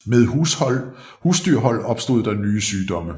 Med husdyrhold opstod der nye sygdomme